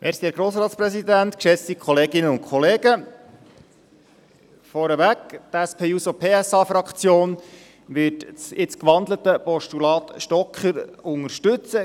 Vorweg: Die SP-JUSO-PSA-Fraktion wird das jetzt gewandelte Postulat Stocker unterstützen.